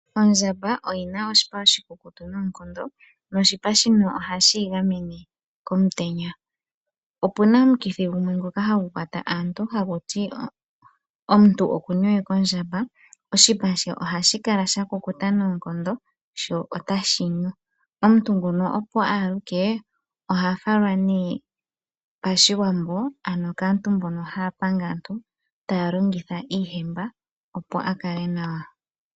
Ondjamba oyi na oshipa oshikukutu noonkondo noshipa shino ohashi yi gamwene komutenya. Opu na omukithi gumwe hagu kwata aantu haku ti omuntu oku na omukithi gondjamba oshipa ohashi kala sha kukuta sho otashi nyu. Omuntu nguno opo a aluke oha falwa mOShiwambo , ano kaantu mboka haya panga aantu taya longitha iihemba opo a kale nawa.